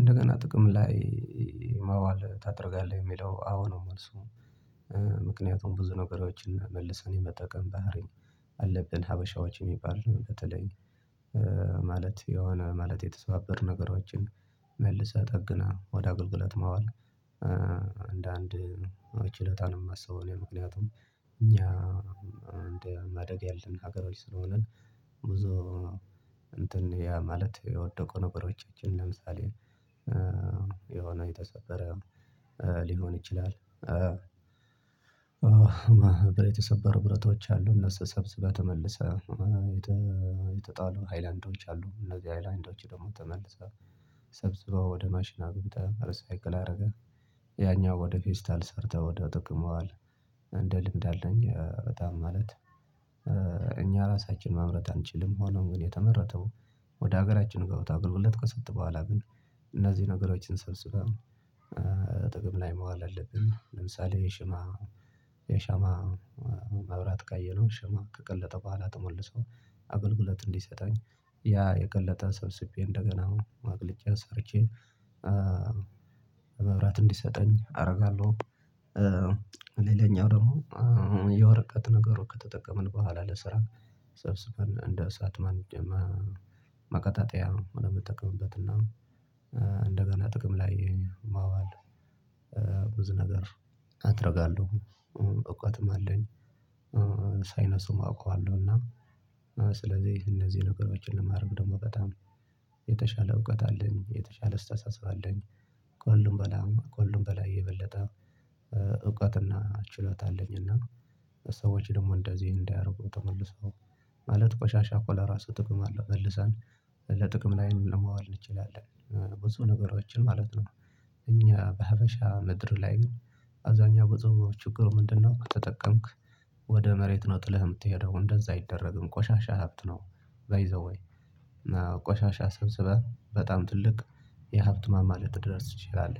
እንደገና ጥቅም ላይ ማዋል ታደርጋለህ የሚለው አዎ ነው መልሱ። ምክንያቱም ብዙ ነገሮችን መልሰን የመጠቀም ባህሪን አለብን ሀበሻዎች የሚባል ነው። በተለይ የሆነ ማለት የተሰባበር ነገሮችን መልሰህ ጠግነን ወደ አገልግለት ማዋል አንድ ችሎታ ነው የማስበው። እኔ ምክንያቱም እኛ እንደ ማደግ ያለብን ከሀገሮች ስለሆንን ብዙ እንትን ያ ማለት የወደቁ ነገሮቻችን ለምሳሌ የሆነ የተሰበረ ሊሆን ይችላል። የተሰበሩ ብረቶች አሉ እነሱ ሰብስበህ ተመልሰህ የተጣሉ ሃይላንዶች አሉ እነዚህ ሃይላንዶች ደግሞ ተመልሰው ሰብስበው ወደ ማሽን አግብተህ ሪሳይክል አደረገ ያኛው ወደ ፌስታል ሰርተህ ወደ ትጠቀመዋል። እንደ ልምድ አለኝ በጣም ማለት። እኛ ራሳችን ማምረት አንችልም ሆኖም ግን የተመረተው ወደ ሀገራችን ገብቶ አገልግሎት ከሰጠ በኋላ ግን ነገሮችን ሰብሰህ ጥቅም ላይ መዋል አለብን። ለምሳሌ የሻማ መብራት ካየነው ሻማ ከቀለጠ በኋላ ተመልሰው አገልግሎት እንዲሰጠኝ ያ የቀለጠ ሰብስቤ እንደገና አሁን ማግለጫ ሰርቼ በመብራት እንዲሰጠኝ አደርጋለሁ። ሌላኛው ደግሞ የወረቀት ነገሮች ከተጠቀምን በኋላ ለስራ ሰብስበን እንደ እሳት ማቀጠጥያ የምንጠቀምበት እና ጥቅም ላይ ማዋል። ብዙ ነገር አደርጋለሁ እወቀትም አለኝ። ሳይንሱም አውቀዋለሁ እና ስለዚህ እነዚህ ነገሮችን ለማድረግ ደግሞ በጣም የተሻለ እውቀት አለኝ የተሻለ ስታስ አለኝ። ከሁሉም በላይ የበለጠ እውቀትና ችሎታ አለኝ እና ሰዎች ደግሞ እንደዚህ እንዳያርጉ ተመልሰው ማለት ቆሻሻ ኮ ራሱ ጥቅም አለው መልሰን ለጥቅም ላይ ለማዋል እንችላለን። ብዙ ነገሮችን ማለት ነው። እኛ በሀበሻ ምድር ላይ ግን አብዛኛው ብዙ ችግሩ ምንድነው? ከተጠቀምክ ወደ መሬት ነው ጥለህ የምትሄደው እንደዛ አይደረግም ቆሻሻ ሀብት ነው። ባይ ዘ ዌይ ቆሻሻ ሰብስበህ በጣም ትልቅ የሀብት ማማ ልትደርስ ትችላል።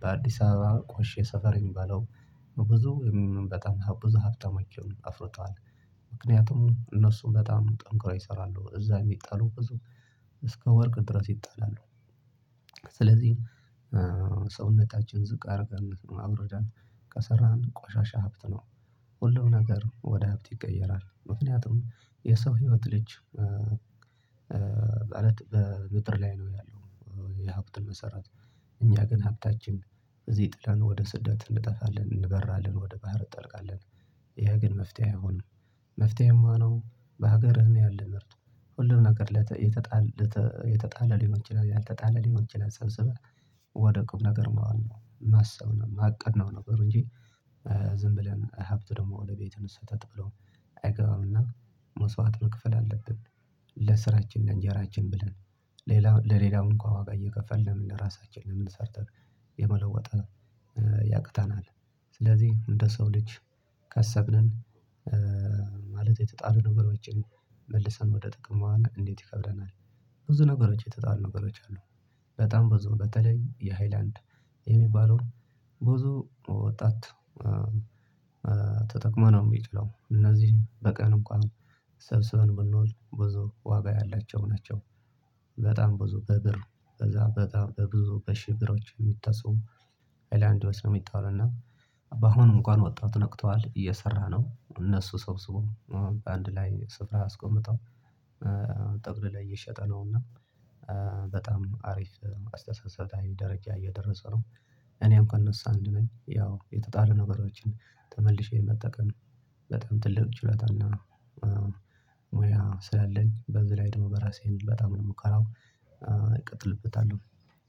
በአዲስ አበባ ቆሼ ሰፈረኝ በለው ብዙ በጣም ብዙ ሀብተመቼውን አፍርተዋል። ምክንያቱም እነሱ በጣም ጠንቅርው ይሰራሉ እዛ የሚጣሉ እስከ ወርቅ ድረስ ይጠላሉ። ስለዚህ ሰውነታችን ዝቅ አድርገን አውርደን ከሰራን ቆሻሻ ሀብት ነው። ሁሉም ነገር ወደ ሀብት ይቀየራል ምክንያቱም የሰው ህይወት ልጅ በምጥር ላይ ነው ያለው። የሀብትን መሰራት እኛ ግን ሀብታችን እዚህ ጥላን ወደ ስደት እንጠፋለን እንበራለን ወደ ባህር እጠልቃለን። ያ ግን መፍትሄ አይሆንም። መፍትሄ የሚሆነው በሀገርህ ነው ያለው። ሁሉም ነገር የተጣለ ሊሆን ይችላል ያልተጣለ ሊሆን ይችላል ሰብስበህ ወደ ቁም ነገር መዋል ነው። ማሰብ ነው የማቀድ ነው ነገሩ እንጂ ዝም ብለን ሀብት ደግሞ ወደ ቤት እንሰጣጥ ብሎ አይገባምና መስዋዕት መክፈል አለብን። ለስራችን ለእንጀራችን ብለን ለሌላው እንኳን ዋጋ እየከፈልን ምን ለራሳችን ለምን ሰርተን የመለወጥ ያቅታናል። ስለዚህ እንደ ሰው ልጅ ካሰብንን ማለት የተጣለ ነገሮችን መልሰን ወደ ጥቅም ማዋል እንዴት ይከብደናል? ብዙ ነገሮች የተጣሉ ነገሮች አሉ። በጣም ብዙ በተለይ የሃይላንድ የሚባለውን ብዙ ወጣት ተጠቅሞ ነው የሚጥለው እነዚህ በቀን እንኳን ሰብስበን ብንውል ብዙ ዋጋ ያላቸው ናቸው። በጣም ብዙ በብር በዛ በጣም በብዙ በሺህ ብሮች የሚታሰው ሀላንድ ነው የሚጣለው። እና በአሁኑ እንኳን ወጣቱ ነቅተዋል እየሰራ ነው እነሱ ሰብስቦ በአንድ ላይ ስፍራ አስቆምጠው ጥቅልሎ እየሸጠ ነውና። በጣም አሪፍ አስተሳሰብ ደረጃ እየደረሰ ነው። እኔም ከእነሱ አንድ ነኝ ያው የተጣለ ነገሮችን ተመልሼ መጠቀም በጣም ትልቅ ችሎታና ሙያ ስላለኝ በዚህ ላይ ደግሞ በራሴን በጣም ነው የምከራው። እቀጥልበታለሁ።